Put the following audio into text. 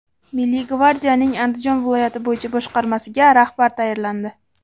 Milliy gvardiyaning Andijon viloyati bo‘yicha boshqarmasiga rahbar tayinlandi.